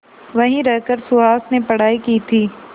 वहीं रहकर सुहास ने पढ़ाई की थी